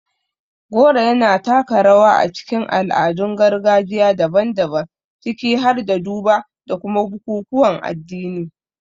Goro yana taka rawa a cikin al'adun gargajiya daban-daban, ciki har da duba da kuma bukukuwan addini.